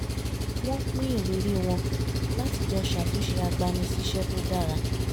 wọ́n pín ìrírí wọn láti jọ ṣàtúnṣe agbani-síṣẹ́ tó dára